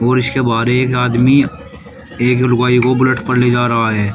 और इसके बाहर एक आदमी एक लुगाई को बुलेट पर ले जा रहा है।